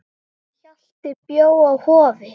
Hjalti bjó á Hofi.